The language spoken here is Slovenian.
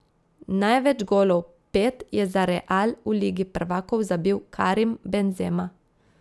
Največ golov, pet, je za Real v Ligi prvakov zabil Karim Benzema.